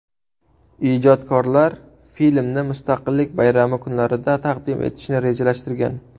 Ijodkorlar filmni Mustaqillik bayrami kunlarida taqdim etishni rejalashtirgan.